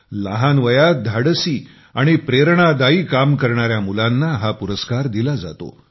लहान वयात धाडसी आणि प्रेरणादायी काम करणारी मुलांना हा पुरस्कार दिला जातो